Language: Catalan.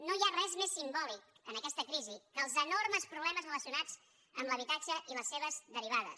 no hi ha res més simbòlic en aquesta crisi que els enormes problemes relacionats amb l’habitatge i les seves derivades